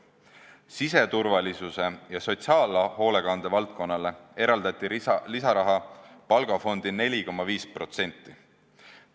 Siseturvalisuse ja sotsiaalhoolekande valdkonnale eraldati lisaraha palgafondi 4,5%.